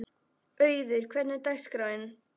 Auður, hvernig er dagskráin?